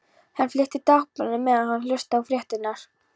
Hann fletti Dagblaðinu meðan hann hlustaði á fréttirnar.